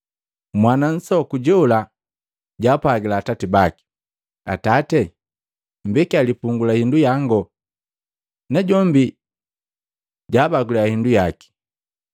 Mwana nsoku jola jaapwagila atati baki, ‘Atati, mmbekia lipungu la hindu yango.’ Najombi jaabagila hindu yaki.